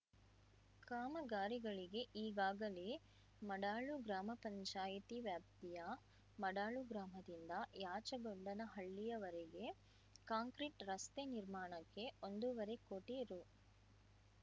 ಕಾಮಗಾರಿಗಳಿಗೆ ಈಗಾಗಲೇ ಮಡಾಳು ಗ್ರಾಮ ಪಂಚಾಯಿತಿ ವ್ಯಾಪ್ತಿಯ ಮಡಾಳು ಗ್ರಾಮದಿಂದ ಯಾಚಗೊಂಡನಹಳ್ಳಿಯವರೆಗೆ ಕಾಂಕ್ರೀಟ್ ರಸ್ತೆ ನಿರ್ಮಾಣಕ್ಕೆ ಒಂದೂವರೆ ಕೋಟಿ ರೂ